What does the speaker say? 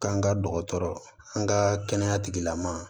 K'an ka dɔgɔtɔrɔ an ka kɛnɛya tigilamɔgɔw